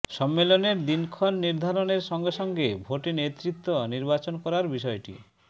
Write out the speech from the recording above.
সম্মেলনের দিনক্ষণ নির্ধারণের সঙ্গে সঙ্গে ভোটে নেতৃত্ব নির্বাচন করার বিষয়টি